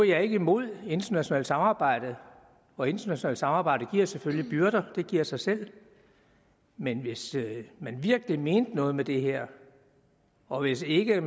jeg ikke imod internationalt samarbejde og internationalt samarbejde giver selvfølgelig byrder det giver sig selv men hvis man virkelig mener noget med det her og ikke ikke